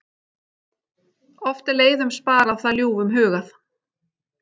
Oft er leiðum sparað það ljúfum hugað.